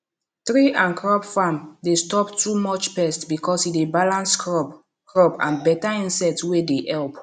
tree and crop farm dey stop too much pest because e dey balance crop crop and better insect wey dey help